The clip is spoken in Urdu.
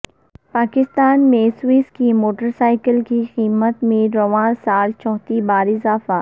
پاکستان میں سوزوکی موٹرسائیکل کی قیمت میں رواں سال چوتھی بار اضافہ